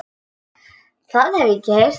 Það hef ég ekki heyrt.